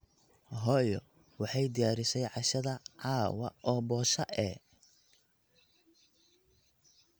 Hooyo Waxaay diyaarisey cashadha cawaa oo bosha ee.